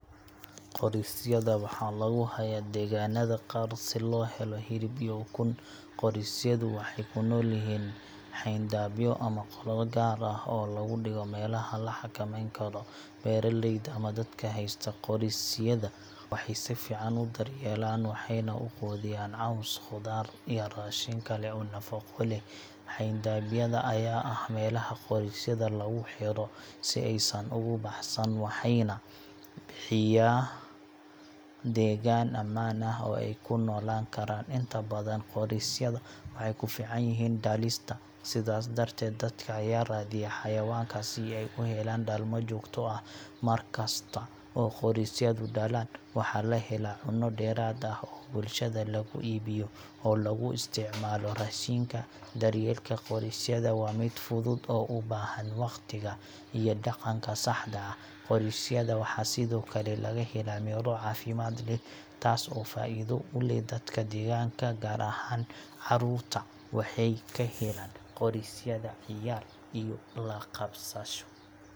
Qorisyada waxaa lagu hayaa deegaanada qaar si loo helo hilib iyo ukun. Qorisyadu waxay ku noolyihiin xayndaabyo ama qolal gaar ah oo lagu dhigo meelaha la xakameyn karo. Beeraleyda ama dadka haysta qorisyada waxay si fiican u daryeelaan, waxayna u quudiyaan caws, khudaar, iyo raashin kale oo nafaqo leh. Xayndaabyada ayaa ah meelaha qorisyada lagu xidho si aysan uga baxsan, waxayna bixiyaa deegaan ammaan ah oo ay ku noolaan karaan. Inta badan qorisyada waxay ku fiican yihiin dhalista, sidaas darteed, dadka ayaa raadiya xayawaanka si ay u helaan dhalmo joogto ah. Markasta oo qorisyadu dhalaan, waxaa la helaa cunno dheeraad ah oo bulshada loogu iibiyo ama loogu isticmaalo raashinka. Daryeelka qorisyada waa mid fudud oo u baahan waqtiga iyo dhaqanka saxda ah. Qorisyada waxaa sidoo kale laga helaa midho caafimaad leh, taas oo faa’iido u leh dadka deegaanka. Gaar ahaan, carruurta waxay ka helaan qorisyada ciyaar iyo la qabsasho.